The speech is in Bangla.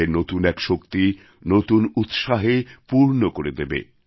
তাদের নতুন এক শক্তি নতুন উৎসাহে পূর্ণ করে দেবে